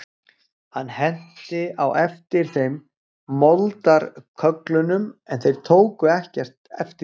Hann henti á eftir þeim moldarkögglum en þeir tóku ekki eftir því.